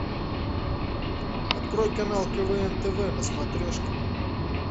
открой канал квн тв на смотрешке